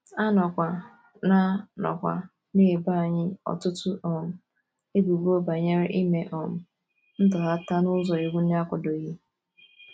A nọkwa na - nọkwa na - ebo anyị ọtụtụ um ebubo banyere ime um ntọghata n’ụzọ iwu na - akwadoghị.